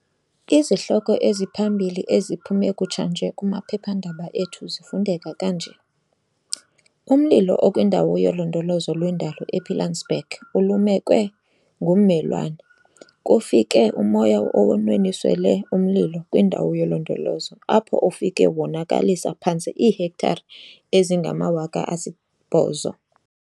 Izihloko eziphambili eziphume kutshanje kumaphephandaba ethu zifundeka kanje- Umlilo okwiNdawo yoLondolozo lweNdalo ePilansberg 'ulumekwe ngummelwane'. Kufike umoya onwenwisele umlilo kwindawo yolondolozo apho ufike wonakalisa phantse iihektare ezingama-8 000.